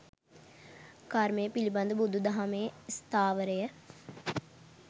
කර්මය පිළිබඳ බුදු දහමේ ස්ථාවරය